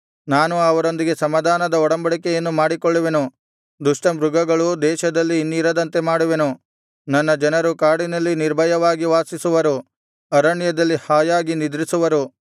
ನಾನು ಅವರೊಂದಿಗೆ ಸಮಾಧಾನದ ಒಡಂಬಡಿಕೆಯನ್ನು ಮಾಡಿಕೊಳ್ಳುವೆನು ದುಷ್ಟಮೃಗಗಳು ದೇಶದಲ್ಲಿ ಇನ್ನಿರದಂತೆ ಮಾಡುವೆನು ನನ್ನ ಜನರು ಕಾಡಿನಲ್ಲಿ ನಿರ್ಭಯವಾಗಿ ವಾಸಿಸುವರು ಅರಣ್ಯದಲ್ಲಿ ಹಾಯಾಗಿ ನಿದ್ರಿಸುವರು